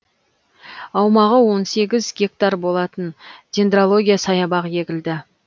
аумағы он сегіз гектар болатын дендрология саябақ егілді